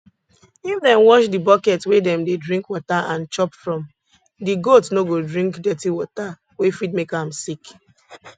if dem wash di bucket wey dem dey drink water and chop from di goat no go drink dirty water wey fit make am sick